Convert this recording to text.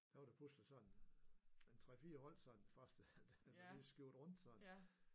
Der var der pludselig sådan en 3 4 hold sådan første der lige skiftede rundt sådan